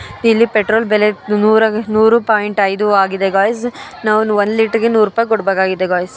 ಇಲ್ಲಿ ಪೆಟ್ರೋಲ್ ಬೆಲೆ ನೂರು ನೂರು ಪಾಯಿಂಟ್ ಐದು ಆಗಿದೆ ಗಾಯ್ಸ್ ನಾನು ಒನ್ ಲೀಟ್ರ್ ಗೆ ನೂರು ರೂಪಾಯಿ ಕೊಡ್ ಬೇಕಾಗಿದೆ ಗಾಯ್ಸ್ .